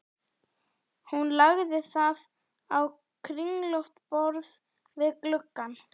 Hún lagði það á kringlótt borð við gluggann.